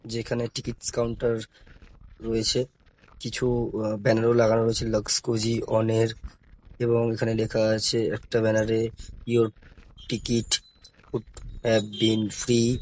যেখানে tickets counter রয়েছে কিছু আহ ব্যনারও লাগানো রয়েছে লাক্স কোজি অনের এবং এখানে লেখা আছে একটা ব্যনারে your ticket could have been free.